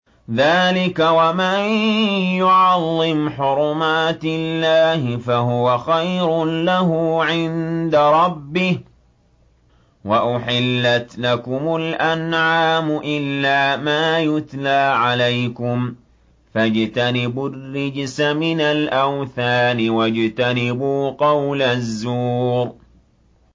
ذَٰلِكَ وَمَن يُعَظِّمْ حُرُمَاتِ اللَّهِ فَهُوَ خَيْرٌ لَّهُ عِندَ رَبِّهِ ۗ وَأُحِلَّتْ لَكُمُ الْأَنْعَامُ إِلَّا مَا يُتْلَىٰ عَلَيْكُمْ ۖ فَاجْتَنِبُوا الرِّجْسَ مِنَ الْأَوْثَانِ وَاجْتَنِبُوا قَوْلَ الزُّورِ